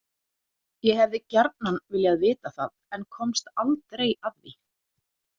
Ég hefði gjarnan viljað vita það en komst aldrei að því.